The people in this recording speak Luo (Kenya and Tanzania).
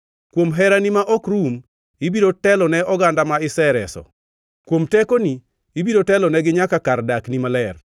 “Kuom herani ma ok rum, ibiro telone oganda ma isereso. Kuom tekoni ibiro telonegi nyaka kar dakni maler.